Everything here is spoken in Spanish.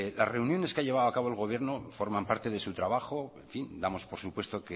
las reuniones que ha llevado a cabo el gobierno forman parte de su trabajo en fin damos por supuesto